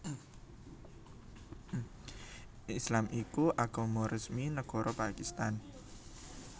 Islam iku agama resmi nagara Pakistan